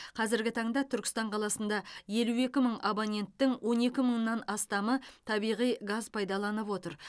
қазіргі таңда түркістан қаласында елу екі мың абоненттің он екі мыңнан астамы табиғи газ пайдаланып отыр